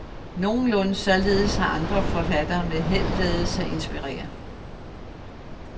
Nogenlunde således har andre forfattere med held ladet sig inspirere.